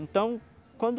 Então, quando